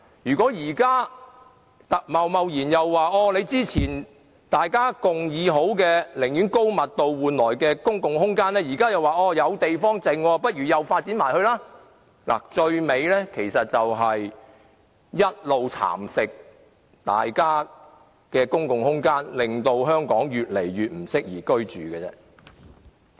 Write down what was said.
如果現時貿然變更之前大家寧願以高密度換取公共空間的共識，現在以"還有地方"為由繼續發展公共空間，最終大家的公共空間只會一直被蠶食，令香港越來越不適宜居住。